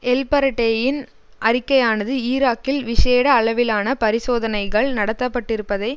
எல்பரடேயின் அறிக்கையானது ஈராக்கில் விஷேட அளவிலான பரிசோதனைகள் நடத்தப்பட்டிருப்பதை